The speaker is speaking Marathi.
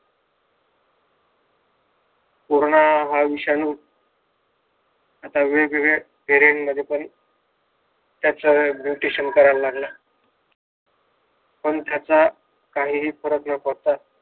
पूर्ण हा विषाणू आता वेगवेगळ्या व्हेरिएन्ट मध्ये पण त्यात सगळ्या यायला लागला पण त्याचा काहीही फरक न पडता